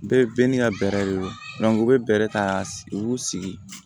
Bɛɛ bɛn n'i ka bɛrɛ de don u bɛ bɛrɛ ta sigi u b'u sigi